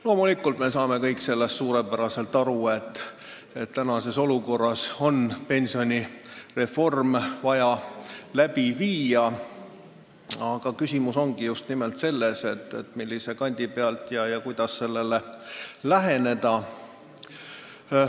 Loomulikult me saame kõik suurepäraselt aru, et praeguses olukorras on pensionireform vaja läbi viia, aga küsimus on just nimelt selles, millise kandi pealt ja kuidas sellele läheneda.